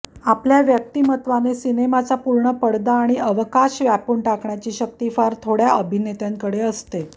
आपल्या व्यक्तिमत्त्वाने सिनेमाचा पूर्ण पडदा आणि अवकाश व्यापून टाकण्याची शक्ती फार थोडय़ा अभिनेत्यांकडे असते